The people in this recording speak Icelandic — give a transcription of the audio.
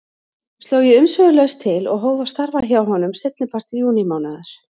Sló ég umsvifalaust til og hóf að starfa hjá honum seinnipart júnímánaðar.